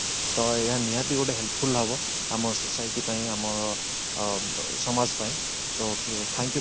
ତ ଏହା ନିହାତି ଗୋଟେ helpful ହବ ଆମ society ପାଇଁ ଆମ ସମାଜ ପାଇଁ ତ thank you mam